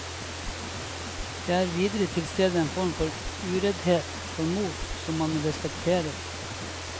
Det er videre tilstede en form for ureddhet, for mot, som man respekterer.